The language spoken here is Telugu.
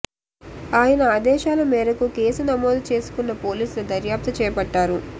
ఆయన ఆదేశాల మేరకు కేసు నమోదు చేసుకున్న పోలీసులు దర్యాప్తు చేపట్టారు